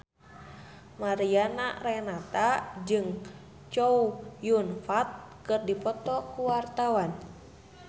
Mariana Renata jeung Chow Yun Fat keur dipoto ku wartawan